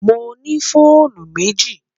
Mo ní fọ̀ònù mẹ́jì.